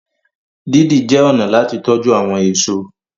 didi jé ọnà láti tọjú àwọn èso.